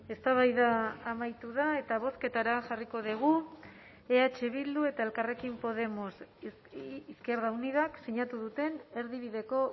eztabaida amaitu da eta bozketara jarriko dugu eh bildu eta elkarrekin podemos izquierda unidak sinatu duten erdibideko